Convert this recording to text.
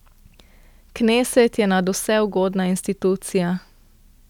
Kneset je nadvse ugodna institucija.